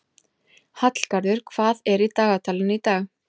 Hallgarður, hvað er í dagatalinu í dag?